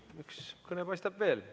Üks kõne paistab veel.